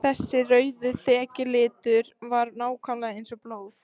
Þessi rauði þekjulitur var nákvæmlega eins og blóð!